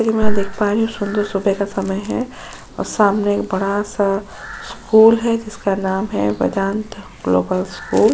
मैं देख पा रही हूँ सुंदर सुबह का समय है और सामने एक बड़ा-सा स्कूल है जिसका नाम है वेदांत ग्लोबल स्कूल ।